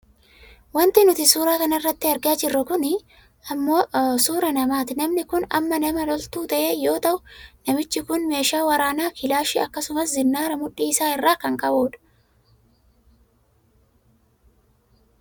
Wanti nuti suuraa kanarratti argaa jirru kun ammoo suuraa namati. Namni kun ammoo nama loltuu ta'e yoo ta'u namiichi kun meeshaa waraanaa kilaashii akkasumas zinnaara mudhii isaa irraa kan qabudha.